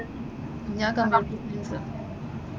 ഞാൻ computer science.